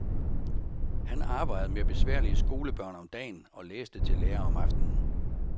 Han arbejdede med besværlige skolebørn om dagen, og læste til lærer om aftenen.